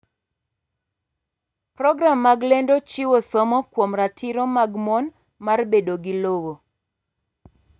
Program mag lendo chiwo somo kuom ratiro mag mon mar bedo gi lowo.